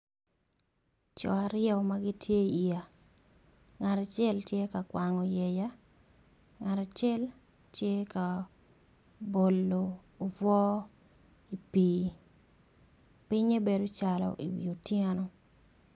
Coo aryo magitye i yea ngat acel tye ka kwango yea ngat acel tye ka bolo obwor i pi pinge bedo calo i wi otyeno.